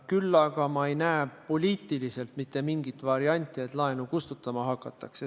Kuid ma ei näe poliitiliselt mitte mingit varianti, et laenu kustutama hakatakse.